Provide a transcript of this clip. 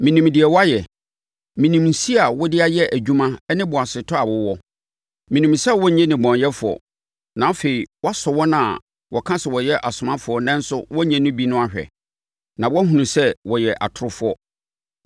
Menim deɛ woayɛ. Menim nsi a wode ayɛ adwuma ne boasetɔ a wowɔ. Menim sɛ wonnye nnebɔneyɛfoɔ, na afei woasɔ wɔn a wɔka sɛ wɔyɛ asomafoɔ nanso wɔnnyɛ bi no ahwɛ, na woahunu sɛ wɔyɛ atorofoɔ.